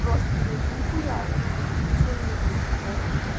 просто блять нихуя ну как бы ничего не было такого